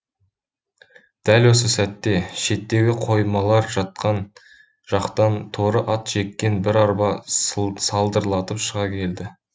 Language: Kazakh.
дәл осы сәтте шеттегі қоймалар жақтан торы ат жеккен бір арба салдырлатып шыға келді